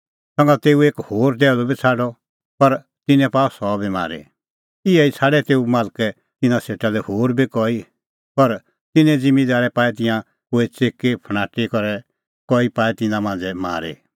संघा तेऊ एक होर टैहलू बी छ़ाडअ पर तिन्नैं पाअ सह बी मारी इहै ई छ़ाडै तेऊ मालकै तिन्नां सेटा लै होर बी कई पर तिन्नैं ज़िम्मींदारै पाऐ तिंयां कोई च़िकीफणाटी और कई पाए तिन्नां मांझ़ै मारी